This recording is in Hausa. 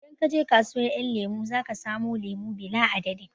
Idan ka je kasuwar ƴan lemo zaka samu lemo bila adadin